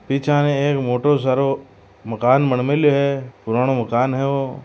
पीछा ने एक मोटो सारो मकान बन मे ली यो है पुराणों मकान है ओ।